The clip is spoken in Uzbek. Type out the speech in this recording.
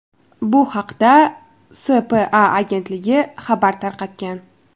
Bu haqda SPA agentligi xabar tarqatgan .